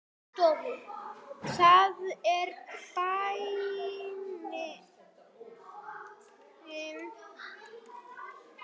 Það er bænin.